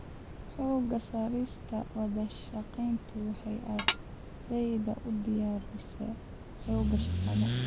Xoogga saarista wadashaqeyntu waxay ardayda u diyaarisaa xoogga shaqada.